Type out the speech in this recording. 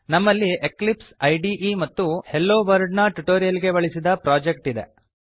ನಮ್ಮಲ್ಲಿ ಎಕ್ಲಿಪ್ಸ್ ಇದೆ ಮತ್ತು ಹೆಲೊವರ್ಲ್ಡ್ ನ ಟ್ಯುಟೋರಿಯಲ್ ಗೆ ಬಳಸಿದ ಪ್ರೊಜೆಕ್ಟ್ ಇದೆ